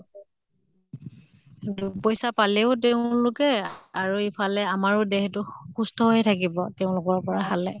দুপইছা পালেও তেওঁলোকে আৰু এফালে আমাৰো দেহ টো সুস্থ হৈ থাকিব তেওঁলোকৰ পৰা খালে।